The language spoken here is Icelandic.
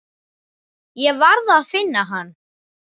Ég varð að finna hann.